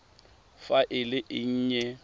fa e le e nnye